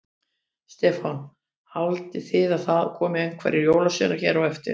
Stefán: Haldið þið að það komi einhverjir jólasveinar hér á eftir?